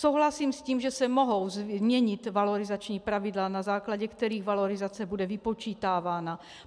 Souhlasím s tím, že se mohou změnit valorizační pravidla, na základě kterých valorizace bude vypočítávána.